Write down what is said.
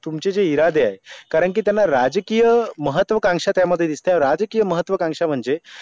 तुमचे जे इरादे आहे कारण कि थियांना राजयकिय महत्वाकांक्षा त्या मध्ये दिसते आहे राजयकिय महत्वाकांक्षा मंजे